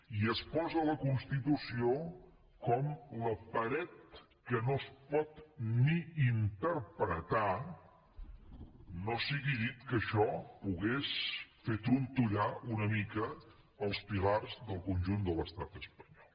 i es posa la constitució com la paret que no es pot ni interpretar no sigui dit que això pogués fer trontollar una mica els pilars del conjunt de l’estat espanyol